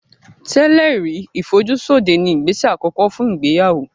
Tẹ́lẹ̀ rí ìfojúsóde ni ìgbésẹ̀ àkọ́kọ́ fún ìgbéyàwó